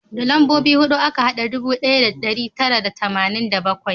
Da lambobi huɗu aka hada ɗubu ɗaya da ɗari tara da tamanin da bakwai